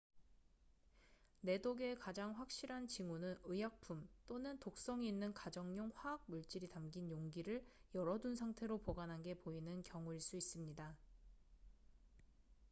내독의 가장 확실한 징후는 의약품 또는 독성이 있는 가정용 화학 물질이 담긴 용기를 열어둔 상태로 보관한 게 보이는 경우일 수 있습니다